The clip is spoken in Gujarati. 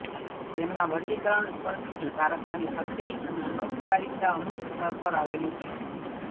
તેમના વશીકરણ સ્પર્શથી પારખવાની શક્તિ અને અનૌપચારિકતા અમુક સ્તર આવેલું છે